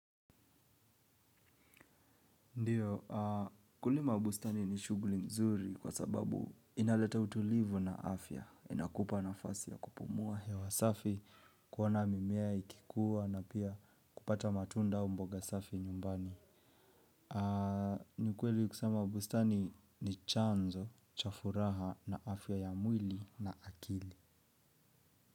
Ndiyo kulima bustani ni shuguli mzuri kwa sababu inaleta utulivu na afya inakupa nafasi ya kupumua hewa safi kuona mimea ikikua na pia kupata matunda au mboga safi nyumbani. Ni ukweli ukisema bustani ni chanzo cha furaha na afya ya mwili na akili.